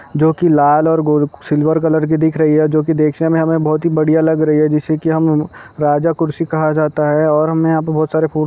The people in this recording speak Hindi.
--जो की लाल और सिल्वर कलर की दिख रही हैं जो की देखने मे हमे बहुत ही बढ़िया लग रही है जैसे कि हम राजा कुर्सी कहा जाता है और हमे यहाँ पे बहोत सारे फू--